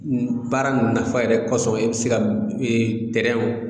Baara nafa yɛrɛ kɔsɔbɛ e be se ka ee